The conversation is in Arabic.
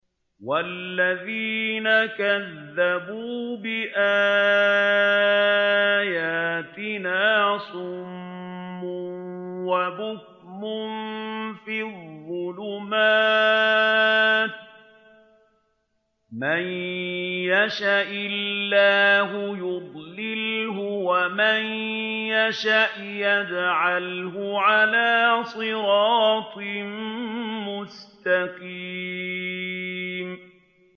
وَالَّذِينَ كَذَّبُوا بِآيَاتِنَا صُمٌّ وَبُكْمٌ فِي الظُّلُمَاتِ ۗ مَن يَشَإِ اللَّهُ يُضْلِلْهُ وَمَن يَشَأْ يَجْعَلْهُ عَلَىٰ صِرَاطٍ مُّسْتَقِيمٍ